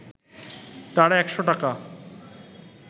তারা একশ’ টাকা